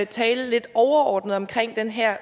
tale lidt overordnet om den her